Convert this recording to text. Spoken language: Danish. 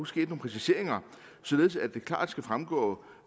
sket nogle præciseringer således at det klart skal fremgå